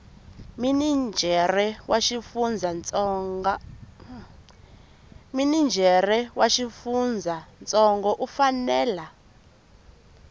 minijere wa xifundzantsongo u fanela